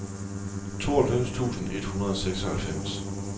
tooghalvfems tusind et hundrede og seksoghalvfems